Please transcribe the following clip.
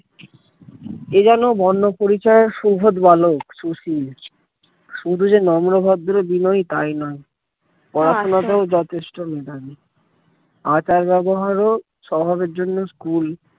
এ যেন বর্নপরিচয়ের সুবোধ বালক শুশীল শুধু যে নম্র ভদ্র-বিনয়ী তাই নয় পড়াশোনাতেও যথেষ্ট মেধাবী আচার ব্যবহার ও কুল